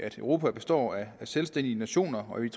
europa består af selvstændige nationer